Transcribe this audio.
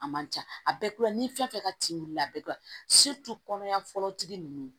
A man ca a bɛɛ kulɛri ni fɛn ka c'i la a bɛ dɔn kɔnɔya fɔlɔ tigi ninnu